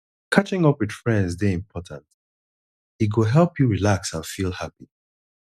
catching up with friends dey important e go help you relax and feel happy